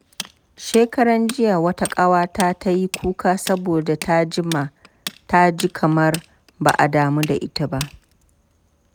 Shekaranjiya, wata ƙawata ta yi kuka saboda ta ji kamar ba a damu da ita ba.